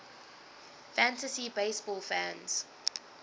fantasy baseball fans